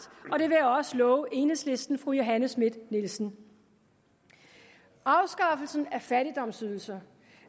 og også love enhedslistens fru johanne schmidt nielsen afskaffelse af fattigdomsydelser